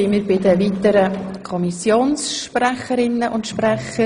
Wir kommen zu den weiteren Fraktionssprecherinnen und -sprechern.